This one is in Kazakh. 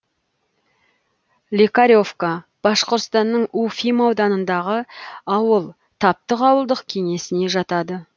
лекаревка башқұртстанның уфим ауданындағы ауыл таптык ауылдық кеңесіне жатады